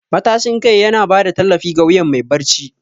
Matashin kai yana ba da tallafi ga wuyan mai barci.